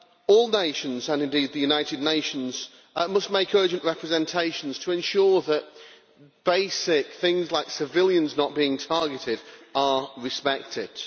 All nations, and indeed the United Nations, must make urgent representations to ensure that basic things, such as civilians not being targeted, are respected.